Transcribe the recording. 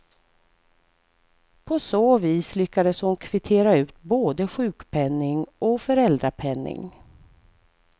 På så vis lyckades hon kvittera ut både sjukpenning och föräldrapenning.